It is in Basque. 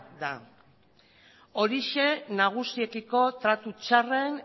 da horixe nagusiekiko tratu txarren